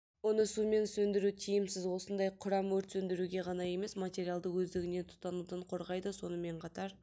оны сумен сөндіру тиімсіз осындай құрам өрт сөндіруге ғана емес материалды өздігінен тұтанудан қорғайды сонымен қатар